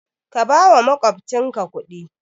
Ka bawa makwabcinka kudi